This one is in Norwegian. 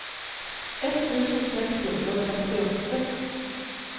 ett tusen seks hundre og trettiåtte